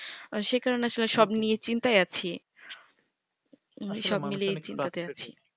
সেকারণে আসলে সব নিয়ে চিন্তায় আছি সব মিলিয়ে চিন্তাতে আছি